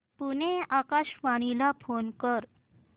पुणे आकाशवाणीला फोन कर